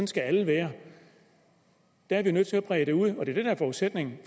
skal alle være der er vi nødt til at brede det ud og det der er forudsætningen